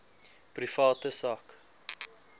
private sak